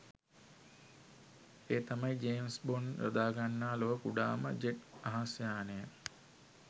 ඒ තමයි James Bond යොදාගන්නා ලොව කුඩාම ජෙට් අහස් යානය.